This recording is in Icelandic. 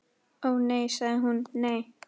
Ó, nei sagði hún, nei.